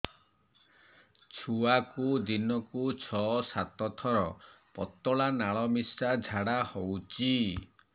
ଛୁଆକୁ ଦିନକୁ ଛଅ ସାତ ଥର ପତଳା ନାଳ ମିଶା ଝାଡ଼ା ହଉଚି